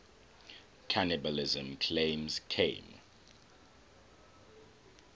cannibalism claims came